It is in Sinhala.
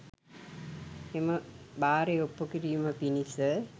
එම බාරය ඔප්පු කිරීම පිණිස